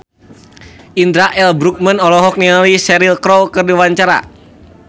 Indra L. Bruggman olohok ningali Cheryl Crow keur diwawancara